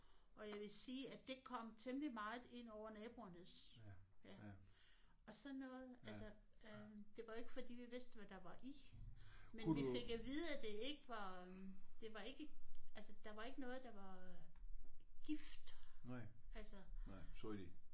Og jeg vil sige at det kom temmelig meget ind over naboernes ja og sådan noget altså øh det var ikke fordi vi vidste hvad der var i men vi fik at vide at det ikke var øh det var ikke altså der var ikke noget der var gift altså